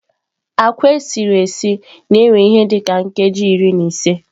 Nsen na-esi esi na-ewe ihe dị ka nkeji iri na ise.